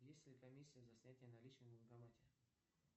есть ли комиссия за снятие наличных в банкомате